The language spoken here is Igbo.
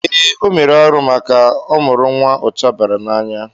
Ee, o mere arụ maka ọ mụrụ nwa ụcha bara n'anya.